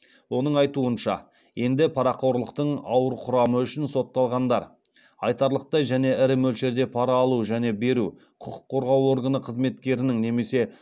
оның айтуынша енді парақорлықтың ауыр құрамы үшін сотталғандар айтарлықтай және ірі мөлшерде пара алу және беру құқық қорғау органы қызметкерінің немесе